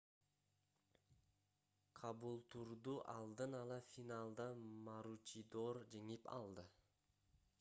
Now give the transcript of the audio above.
кабултурду алдын ала финалда маручидор жеңип алды